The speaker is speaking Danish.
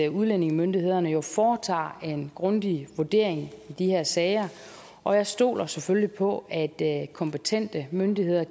udlændingemyndighederne foretager en grundig vurdering af de her sager og jeg stoler selvfølgelig på at kompetente myndigheder